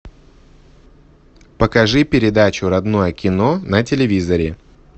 покажи передачу родное кино на телевизоре